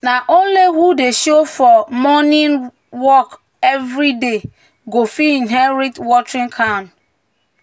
um "na um only who dey show for um morning work every day go fit inherit watering can."